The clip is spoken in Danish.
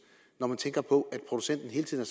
når jeg tænker på at producenten hele tiden